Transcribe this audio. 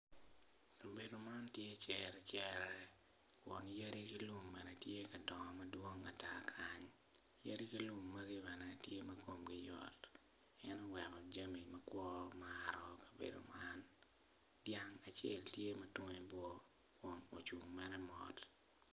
Kabedo man tye cere cere kun yadi gi lum bene tye ka dongo madwong ata kany, yadi ki lum magi bene tye ma kongi yot en oweko jami makwor maro kabedo man, dyang acel tye ma twonge bor kun ocungo mere mot.